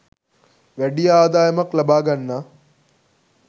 වැඩි ආදායමක් ලබා ගන්නා